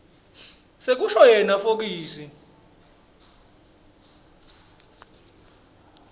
sekusho yena fokisi